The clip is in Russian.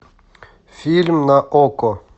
фильм на окко